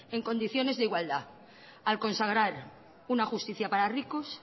en condiciones de igualdad al consagrar una justicia para ricos